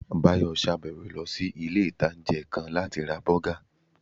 Báyọ̀ sàbẹ̀wọ̀ lọ sí ilé-ìtánjẹ́ kan láti ra bọ́gà